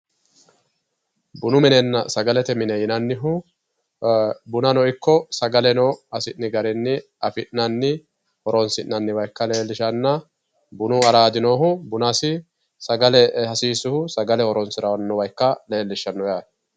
Bunu minenna sagalete mine yinannihu bunano ikko sagaleno hasi'ni garinni affi'nanni horonsi'nanniwa ikka leelishshanna bunu araadi noohu bunasi sagale hasiisuhu sagale horonsiranoha ikka leellishano yaate.